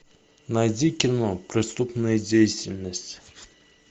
найди кино преступная деятельность